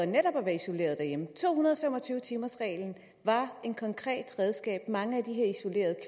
netop at være isoleret derhjemme to hundrede og fem og tyve timersreglen var et konkret redskab mange af de her isolerede